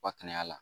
Wa kɛnɛya la